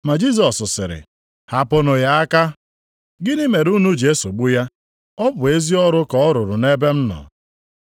Ma Jisọs sịrị, “Hapụnụ ya aka. Gịnị mere unu ji esogbu ya? Ọ bụ ezi ọrụ ka ọ rụrụ nʼebe m nọ.